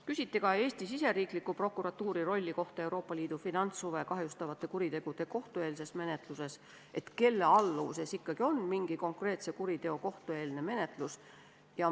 Küsiti ka Eesti riigisisese prokuatuuri rolli kohta Euroopa Liidu finantshuve kahjustavate kuritegude kohtueelses menetluses, seda, kelle alluvuses ikkagi on mingi konkreetse kuriteo kohtueelne menetlus.